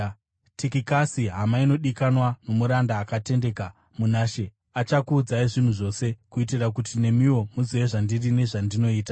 Tikikasi, hama inodikanwa nomuranda akatendeka muna She, achakuudzai zvinhu zvose, kuitira kuti nemiwo muzive zvandiri nezvandinoita.